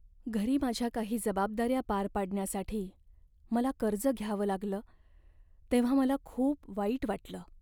घरी माझ्या काही जबाबदाऱ्या पार पाडण्यासाठी मला कर्ज घ्यावं लागलं तेव्हा मला खूप वाईट वाटलं.